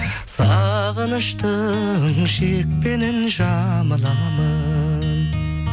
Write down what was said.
сағыныштың шекпенін жамыламын